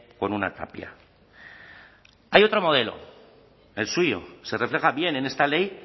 con una tapia hay otro modelo el suyo se refleja bien en esta ley